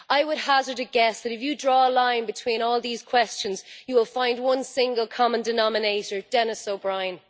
I would hazard a guess that if you draw a line between all these questions, you will find one single common denominator Denis O'Brien.